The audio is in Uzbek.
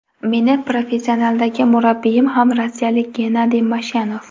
Meni professionaldagi murabbiyim ham rossiyalik Gennadiy Mashyanov.